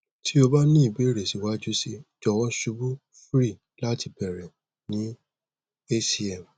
ti o ba ni ibeere siwaju sii jọwọ ṣubu free lati beere ni hcm